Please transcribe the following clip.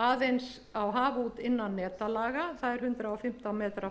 aðeins á haf út innan netalög það er hundrað og fimmtán metrar